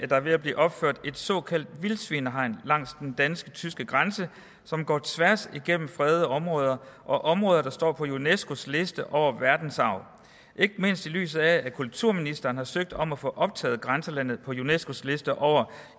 der er ved at blive opført et såkaldt vildsvinehegn langs den dansk tyske grænse som går tværs igennem fredede områder og områder der står på unescos liste over verdensarv ikke mindst i lyset af at kulturministeren har søgt om at få optaget grænselandet på unescos liste over